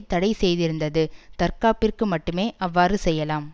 தடை செய்திருந்தது தற்காப்பிற்கு மட்டுமே அவ்வாறு செய்யலாம்